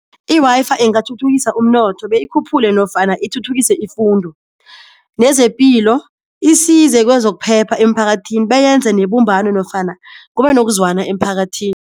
I-Wi-Fi ingathuthukisa umnotho beyikhuphule nofana ithuthukise ifundo nezepilo, isize kwezokuphepha emphakathini beyenze nebumbano nofana kube nokuzwana emphakathini.